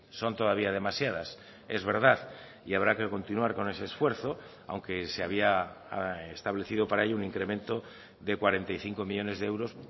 son todavía demasiadas es verdad y habrá que continuar con ese esfuerzo aunque se había establecido para ello un incremento de cuarenta y cinco millónes de euros